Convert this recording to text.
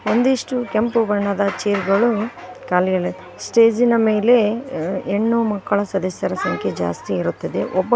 ಒಂದಿಷ್ಟು ಕೆಂಪು ಬಣ್ಣದ ಚೇರ್ ಗಳು ಖಾಲಿ ಇದೆ ಸ್ಟೇಜ್ ಇನ ಮೇಲೆ ಉ ಹೆಣ್ಣು ಮಕ್ಕಳ ಸದಸ್ಯರ ಸಂಖ್ಯೆ ಜಾಸ್ತಿ ಇರುತ್ತದೆ ಒಬ್ಬ --